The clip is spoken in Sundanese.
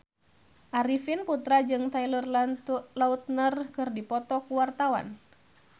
Arifin Putra jeung Taylor Lautner keur dipoto ku wartawan